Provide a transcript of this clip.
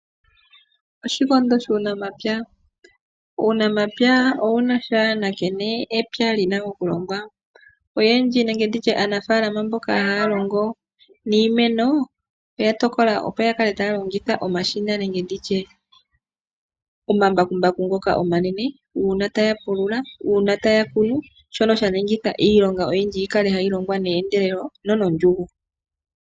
Oshikondo shuunamapya Uunamapya owuna sha nankene epya lina okulongwa. Oyendji nenge nditye aanafaalama mboka haya longo niimeno, oya tokola opo ya kale taya longitha omashina nenge nditye omambakumbaku ngoka omanene, uuna taya pulula, uuna taya kunu, shono sha ningitha iilonga yi kale tayi longwa neendelelo nonondjungu.